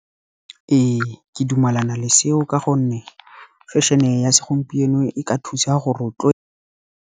Ee ke dumelana le seo ka gonne fashion-e ya segompieno e ka thusa go .